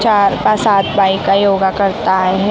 चार का सात बायका योगा करत आहेत .